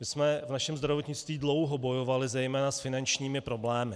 My jsme v našem zdravotnictví dlouho bojovali zejména s finančními problémy.